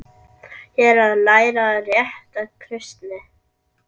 Ég er að læra rétta kristni.